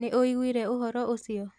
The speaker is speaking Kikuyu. Nĩũiguire ũhoro ũcio?